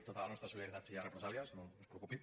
tota la nostra solidaritat si hi ha represàlies no es preocupi